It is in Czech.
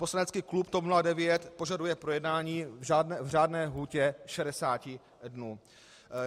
Poslanecký klub TOP 09 požaduje projednání v řádné lhůtě 60 dnů.